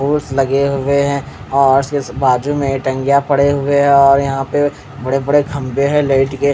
लगे हुए है और बाजुमें टंगे पड़े हुए है और यहाँ पे बड़े बड़े खंबे है लाइट के--